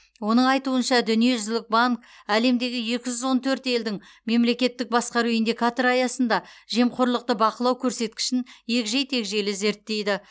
оның айтуынша дүниежүзілік банк әлемдегі екі жүз он төрт елдің мемлекеттік басқару индикаторы аясында жемқорлықты бақылау көрсеткішін егжей тегжейлі зерттейді